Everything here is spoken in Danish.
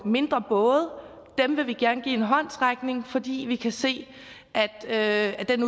mindre både dem vil vi gerne give en håndsrækning fordi vi kan se at den